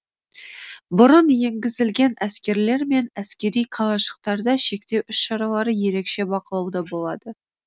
бұрын енгізілген әскерлер мен әскери қалашықтарда шектеу іс шаралары ерекше бақылауда болады